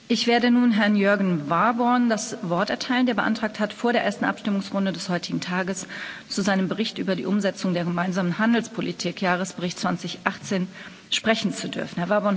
Ich werde nun Herrn Jörgen Warborn das Wort erteilen, der beantragt hat, vor der ersten Abstimmungsrunde des heutigen Tages zu seinem Bericht über die Umsetzung der gemeinsamen Handelspolitik Jahresbericht 2018 sprechen zu dürfen.